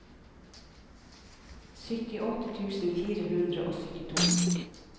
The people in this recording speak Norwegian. syttiåtte tusen fire hundre og syttito